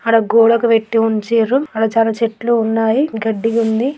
అడా గోడకు పెట్టి ఉంచిరు. అడ చాలా చెట్లు ఉన్నాయి. గడ్డి ఉంది.